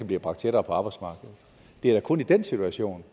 bliver bragt tættere på arbejdsmarkedet det er da kun i den situation